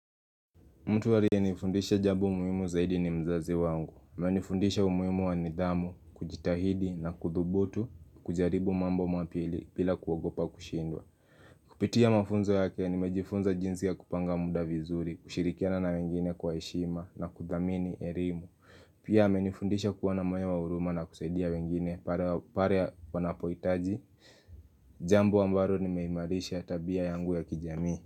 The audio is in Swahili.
Mtu aliye nifundisha jambo umuhimu zaidi ni mzazi wangu. Menifundisha umuhimu wa nidhamu, kujitahidi na kudhubutu, kujaribu mambo mapya bila kugopa kushindwa. Kupitia mafunzo yake ni mejifunza jinsi ya kupanga muda vizuri, kushirikiana na wengine kwa heshima na kudhamini ukarimu. Pia amenifundisha kuwa na moyo wa huruma na kusaidia wengine pare wanapoitaji. Jamba ambaro rimeimarisha tabia yangu ya kijamii.